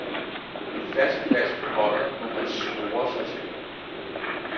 En fast plads på holdet må han score sig til.